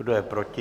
Kdo je proti?